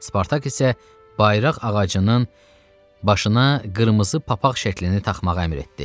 Spartak isə bayraq ağacının başına qırmızı papaq şəklini taxmağı əmr etdi.